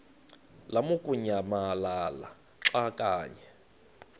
lamukunyamalala xa kanye